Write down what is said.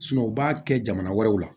u b'a kɛ jamana wɛrɛw la